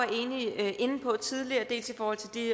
inde på tidligere dels i forhold til de